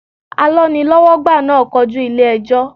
Alọ́nilọ́wọ́gbà náà kojú ilé ẹjọ́.